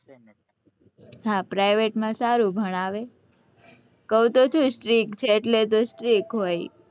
હા private માં સારું ભણાવે કવું તો છુ strict છે એટલે તો strict હોય